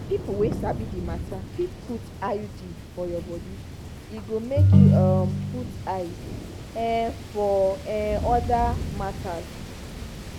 na people wey sabi the matter fit put iud for your body e go make you um put eyes um for um other matters.